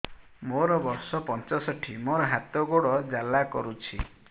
ମୋର ବର୍ଷ ପଞ୍ଚଷଠି ମୋର ହାତ ଗୋଡ଼ ଜାଲା କରୁଛି